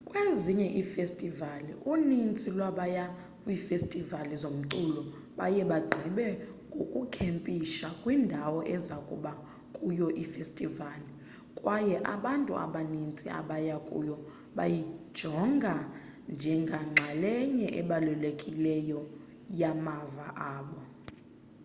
kwezinye iifestivali uninzi lwabaya kwiifestivali zomculo baye bagqibe ngokukhempisha kwindawo eza kuba kuyo ifestivali kwaye abantu abaninzi abaya kuyo bayijonga njengenxalenye ebalulekileyo yamava abo